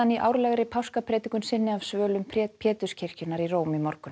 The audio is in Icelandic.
í árlegri páskapredikun sinni af svölum Péturskirkjunnar í Róm í morgun